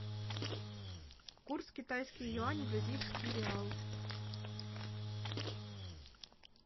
курс китайский юань бразильский реал